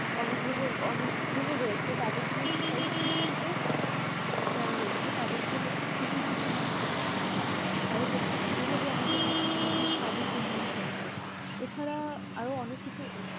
অনেক গ্রহর অনেক গ্রহর রয়েছে তাদেরকে এটাই শিক্ষিত যারা রয়েছে তাদেরকে হচ্ছে কৃষি ক্ষেত্রে করতে হবে তাই হচ্ছে এভাবে আমাদের হচ্ছে কৃষির সাদিক উন্নয়ন সম্ভব এছাড়া আরো অনেক কিছু